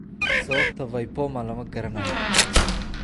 Sababta VIPoma lama garanayo.